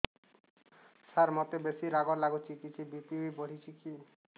ସାର ମୋତେ ବେସି ରାଗ ଲାଗୁଚି କିଛି ବି.ପି ବଢ଼ିଚି କି